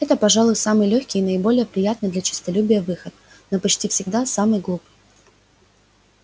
это пожалуй самый лёгкий и наиболее приятный для честолюбия выход но почти всегда самый глупый